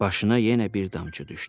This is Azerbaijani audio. Başına yenə bir damcı düşdü.